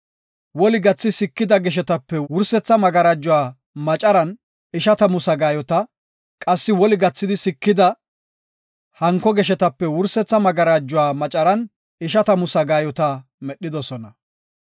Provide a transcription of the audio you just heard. Woli gathidi sikida geshetape wursetha magarajuwa macaran ishatamu sagaayota, qassi woli gathidi sikida hanko geshetape wursetha magarajuwa macaran ishatamu sagaayota medhidosona.